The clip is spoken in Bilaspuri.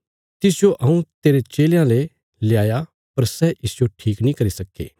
तिसजो हऊँ तेरे चेलयां ले ल्याया पर सै इसजो ठीक नीं करी सक्के